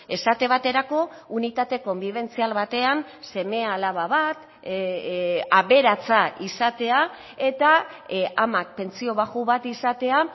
esate baterako unitate konbibentzial batean seme alaba bat aberatsa izatea eta amak pentsio baxu bat izatea